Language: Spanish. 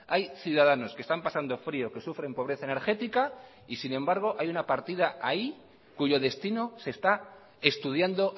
hay ciudadanos que están pasando frío que sufren pobreza energética y sin embargo hay una partida ahí cuyo destino se está estudiando